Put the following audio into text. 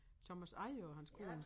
Thomas Eje og hans kone